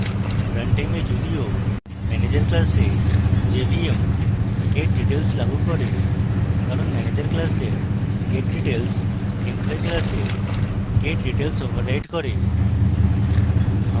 run time এ যদিও manager class jvm getdetails লাগু করে কারণ manager class getdetails employee class getdetails override করে